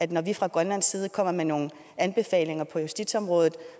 det når vi fra grønlands side kommer med nogle anbefalinger på justitsområdet